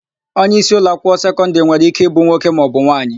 Onyeisi ụlọakwụkwọ sekọndịrị nwere íké ịbụ nwoke maọbụ nwaanyị.